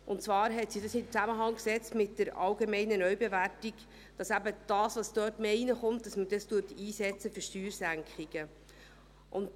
Und sie setzte dies in einen Zusammenhang mit der allgemeinen Neubewertung, dass man das, was dort mehr hereinkommt, eben für Steuersenkungen einsetzt.